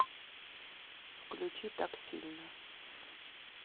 включи так сильно